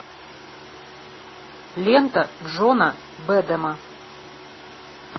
лента джона бэдэма